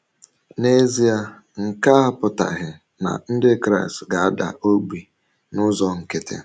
N’ezie, nke a apụtaghị na Ndị Kraịst ga - ada ogbi n’ụzọ nkịtị.